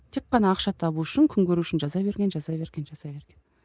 тек қана ақша табу үшін күн көру үшін жаза берген жаза берген жаза берген